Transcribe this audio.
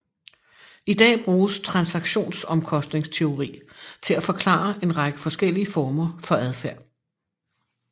I dag bruges transaktionsomkostningsteori til at forklare en række forskellige former for adfærd